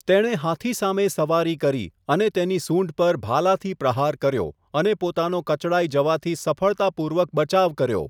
તેણે હાથી સામે સવારી કરી અને તેની સૂંઢ પર ભાલાથી પ્રહાર કર્યો અને પોતાનો કચડાઈ જવાથી સફળતાપૂર્વક બચાવ કર્યો.